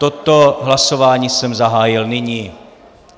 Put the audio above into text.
Toto hlasování jsem zahájil nyní.